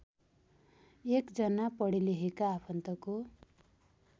एकजना पढेलेखेका आफन्तको